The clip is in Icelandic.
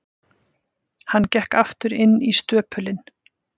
Hann gekk aftur inn í stöpulinn.